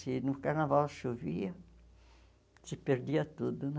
Se no carnaval chovia, se perdia tudo, né?